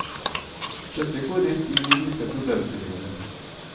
Dette går rett inn i disse problemstillingene.